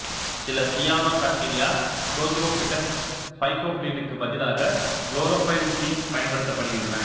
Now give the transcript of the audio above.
சில cyanobacteria prochlorophytes ஃபைகோபிளினுக்கு பதிலாக குளோரோபைல் பி பயன்படுத்துகின்றன